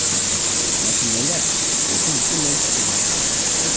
Natijada qo‘shin butunlay kuchsizlanib qoldi.